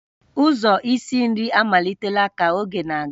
Ụzọ isi nri amalitela ka oge na-aga